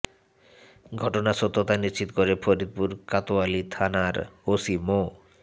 ঘটনার সত্যতা নিশ্চিত করে ফরিদপুর কোতোয়ালি থানার ওসি মো